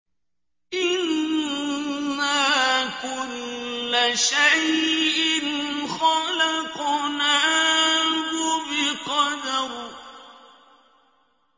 إِنَّا كُلَّ شَيْءٍ خَلَقْنَاهُ بِقَدَرٍ